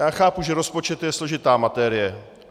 Já chápu, že rozpočet je složitá materie.